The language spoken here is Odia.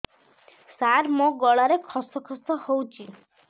ସାର ମୋ ଗଳାରେ ଖସ ଖସ ହଉଚି